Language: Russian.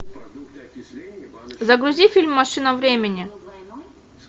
загрузи фильм машина времени